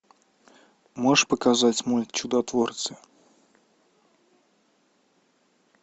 можешь показать мульт чудотворцы